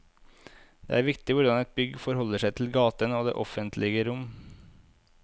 Det er viktig hvordan et bygg forholder seg til gaten og det offentlige rom.